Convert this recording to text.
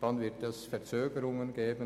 Es wird Verzögerungen geben.